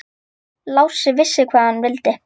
Lási vissi hvað hann vildi.